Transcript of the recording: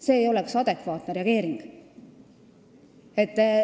See ei oleks olnud adekvaatne reageering.